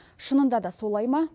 шынында да солай ма